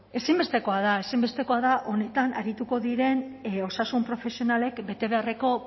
ezinbestekoa da honetan arituko diren osasun profesionalek betebeharreko